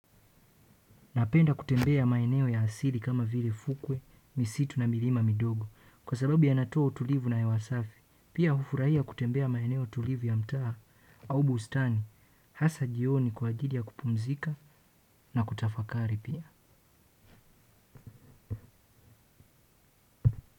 Napenda kutembea maeneo ya asili kama vile fukwe, misitu na milima midogo. Kwa sababu ya natoa tulivu na hewa safi, pia hufurahia kutembea maeneo tulivu ya mtaa. Au bustani, hasa jioni kwa ajili ya kupumzika na kutafakari pia.